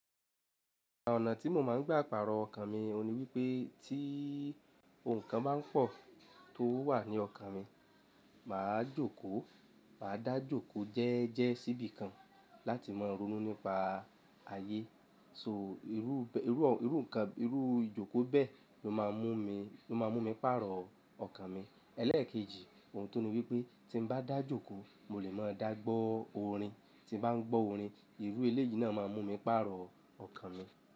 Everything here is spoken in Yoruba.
Àwọn ọ̀nà tí mo máa ń gbé pàrọ̀ ọkàn mi ni wípé tí ohun kan bá pọ̀ tó wà ní ọkàn mi, màá jókòó, màá dá jókòó jẹ́ẹjẹ́ síbi kan láti máa ronú nípa ayé. Nitori naa, irú, irú, irú nǹkan, irú ijoko bẹ́ẹ̀ ló máa mú mi, ló máa mú mi pàrọ̀ ọkàn mi. Eléèkejì ohun tọ́nì wípé tí n bá dá jókòó mo lè máa dàgbó orin. Tí n bá ń gbọ́ orin, irú ìléyì náà máa mú mi pàrọ̀ ọkàn mi.